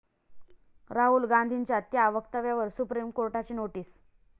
राहुल गांधींच्या त्या वक्तव्यावर सुप्रीम कोर्टाची नोटीस